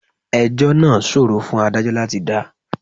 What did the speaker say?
Ẹjọ́ náà ṣòro fún Ádájọ́ láti dá.